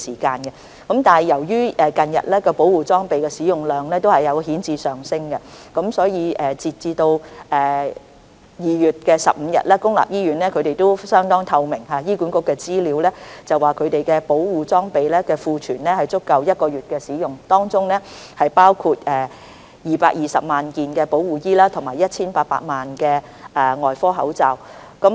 近日保護裝備的使用量顯著上升，截至2月15日，醫管局的資料相當透明，顯示公立醫院的保護裝備的庫存量足夠使用1個月，當中包括220萬件保護衣及 1,800 萬個外科口罩。